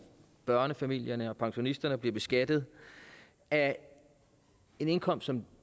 børnefamilierne og pensionisterne bliver beskattet af en indkomst som